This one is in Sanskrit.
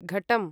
घटं